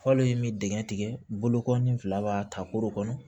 Falen min dingɛ tigɛ bolokɔni fila b'a ta koro kɔnɔ